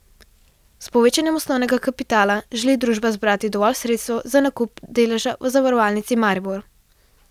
S povečanjem osnovnega kapitala želi družba zbrati dovolj sredstev za nakup deleža v Zavarovalnici Maribor.